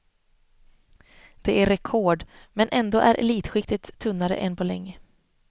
Det är rekord, men ändå är elitskiktet tunnare än på länge.